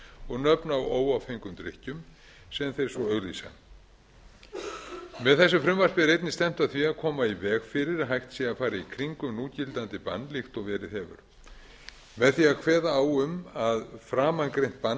og nöfn á óáfengum drykkjum sem þeir svo auglýsa með þessu frumvarpi er einnig stefnt að því að koma í veg fyrir að hægt sé að fara í kringum núgildandi bann líkt og verið hefur með því að kveða á um að framangreint bann